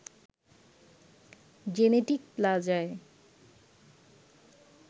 genetic প্লাজায়